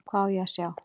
Hvað á ég að sjá?